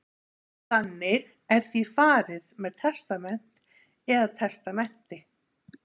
Þannig er því farið með testament eða testamenti.